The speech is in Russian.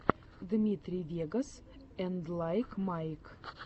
дмитрий вегас энд лайк майк